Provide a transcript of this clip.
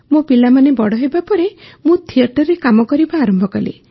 ମୋ ପିଲାମାନେ ବଡ଼ ହେବାପରେ ମୁଁ ଥିଏଟରରେ କାମ କରିବା ଆରମ୍ଭ କଲି